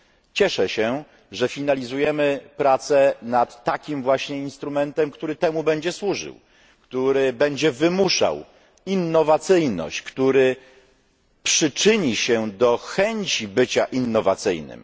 Cieszę się, że finalizujemy pracę nad takim właśnie instrumentem, który temu będzie służył, który będzie wymuszał innowacyjność, który przyczyni się do chęci bycia innowacyjnym.